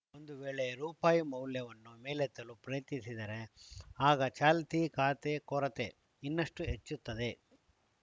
ಒಂದು ವೇಳೆ ರುಪಾಯಿ ಮೌಲ್ಯವನ್ನು ಮೇಲೆತ್ತಲು ಪ್ರಯತ್ನಿಸಿದರೆ ಆಗ ಚಾಲ್ತಿ ಖಾತೆ ಕೊರತೆ ಇನ್ನಷ್ಟುಹೆಚ್ಚುತ್ತದೆ